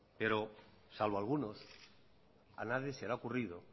pero salvo algunos ha nadie se le ha ocurrido